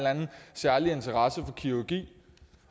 særlig interesse for kirurgi